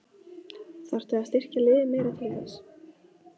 Þarftu að styrkja liðið meira til þess?